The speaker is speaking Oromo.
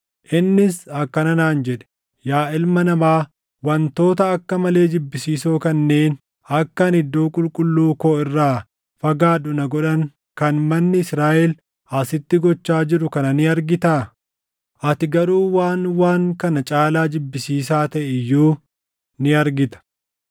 Innis akkana naan jedhe; “Yaa ilma namaa, wantoota akka malee jibbisiisoo kanneen akka ani iddoo qulqulluu koo irraa fagaadhu na godhan kan manni Israaʼel asitti gochaa jiru kana ni argitaa? Ati garuu waan waan kana caalaa jibbisiisaa taʼe iyyuu ni argita.”